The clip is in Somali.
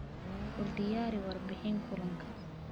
U diyaari warbixin kulanka.